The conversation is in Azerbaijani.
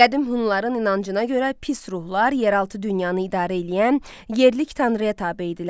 Qədim Hunların inancına görə pis ruhlar yeraltı dünyanı idarə eləyən yerlik tanrıya tabe idilər.